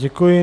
Děkuji.